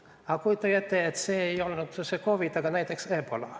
Aga kujutage ette, et see ei oleks COVID, vaid näiteks ebola.